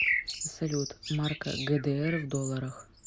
салют марка гдр в долларах